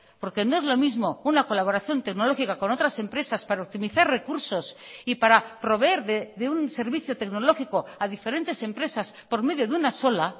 porque no es lo mismo una colaboración tecnológica con otras empresas para optimizar recursos y para proveer de un servicio tecnológico a diferentes empresas por medio de una sola